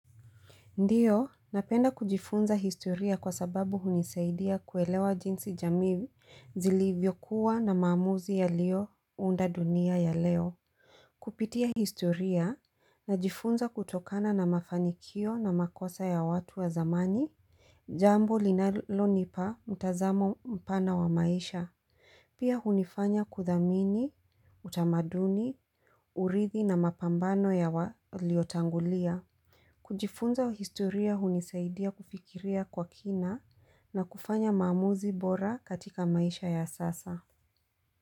Ndiyo, napenda kujifunza historia kwa sababu hunisaidia kuelewa jinsi jamii zilivyokuwa na maamuzi yalio unda dunia ya leo. Kupitia historia na jifunza kutokana na mafanikio na makosa ya watu wa zamani, jambo linalo nipa mtazamo mpana wa maisha, pia hunifanya kuthamini utamaduni, urithi na mapambano ya waliotangulia. Kujifunza historia hunisaidia kufikiria kwa kina na kufanya mamuzi bora katika maisha ya sasa.